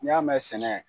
N'i y'a mɛn sɛnɛ